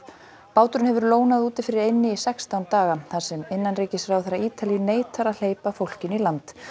báturinn hefur úti fyrir eynni í sextán daga þar sem innanríkisráðherra Ítalíu neitar að hleypa fólkinu í land